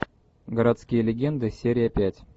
городские легенды серия пять